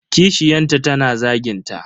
Kishiyanta tana zagin ta.